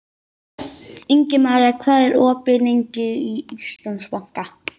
Ingimaría, hvað er opið lengi í Íslandsbanka?